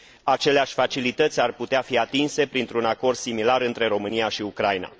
Aceleași facilități ar putea fi atinse printr un acord similar între România și Ucraina.